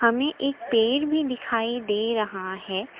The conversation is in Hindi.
हमें एक पेड़ भी दिखाई दे रहा है।